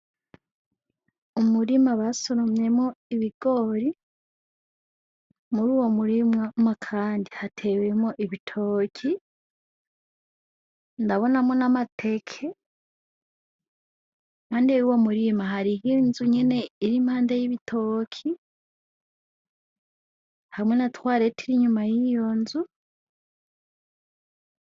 Umurima basoromyemwo ibigori, muri uwo murima kandi hatewemwo ibitoki , ndabonamwo n'amateke, impande yuwo murima hari ninzu nyene iri impande y'ibitoki , hamwe na twaret ir'inyuma y'iyo nzu.